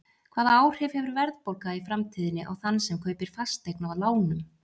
Hvaða áhrif hefur verðbólga í framtíðinni á þann sem kaupir fasteign á lánum?